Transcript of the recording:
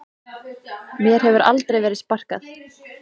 Mér hefur aldrei verið sparkað